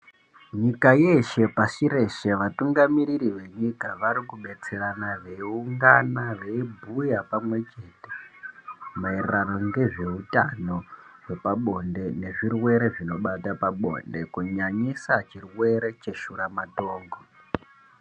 Nyika yeeshe, pashi reshe, vatungamiriri venyika vari kubetserana, veiungana veibhuya pamwechete, maererano nezveutano hwepabonde nezvirwere zvinobata pabonde, kunyanyisa chirwere cheshuramatongo.